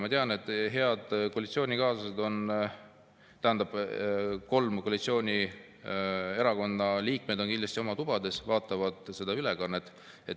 Ma tean, et head koalitsioonikaaslased – see tähendab kolme koalitsioonierakonna liikmed – on kindlasti oma tubades ja vaatavad seda ülekannet.